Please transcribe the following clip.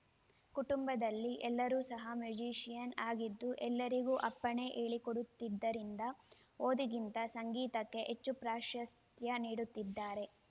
ಕುಟುಂಬದಲ್ಲಿ ಎಲ್ಲರೂ ಸಹ ಮ್ಯೂಜಿಷಿಯನ್ನು ಆಗಿದ್ದು ಎಲ್ಲರಿಗೂ ಅಪ್ಪನೇ ಹೇಳಿಕೊಡುತ್ತಿದ್ದರಿಂದ ಓದಿಗಿಂತ ಸಂಗೀತಕ್ಕೆ ಹೆಚ್ಚು ಪ್ರಾಶಸ್ತ್ಯ ನೀಡುತ್ತಿದ್ದರು